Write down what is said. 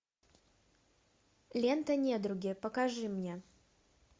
лента недруги покажи мне